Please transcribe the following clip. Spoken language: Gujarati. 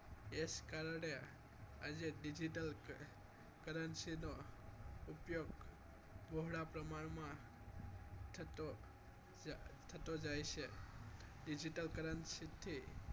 એ જ કારણે આજે digital currency નો ઉપયોગ બહોળા પ્રમાણમાં થતો જાય છે digital currency થી